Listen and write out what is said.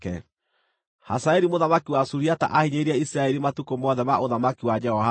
Hazaeli mũthamaki wa Suriata aahinyĩrĩirie Isiraeli matukũ mothe ma ũthamaki wa Jehoahazu.